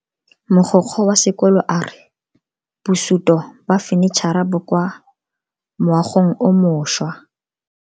Mogokgo wa sekolo a re bosuto ba fanitšhara bo kwa moagong o mošwa.